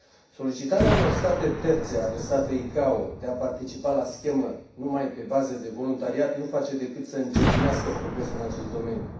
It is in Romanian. Solicitarea unor state terțe adresate ICAO de a participa la schemă numai pe bază de voluntariat nu face decât să încetinească progresul în acest domeniu.